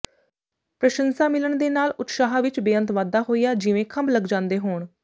ਪ੍ਰਸ਼ੰਸਾ ਮਿਲਣ ਦੇ ਨਾਲ ਉਤਸ਼ਾਹ ਵਿਚ ਬੇਅੰਤ ਵਾਧਾ ਹੋਇਆ ਜਿਵੇਂ ਖੰਭ ਲੱਗ ਜਾਂਦੇ ਹੋਣ